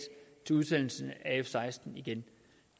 til en udsendelse af f seksten igen